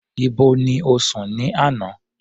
Ibo ni o sùn ní àná?